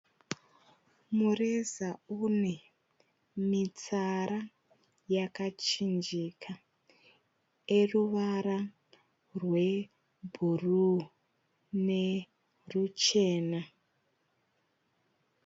Mureza une mitsara yakachinjika eruvara rwebhuruu neruchena.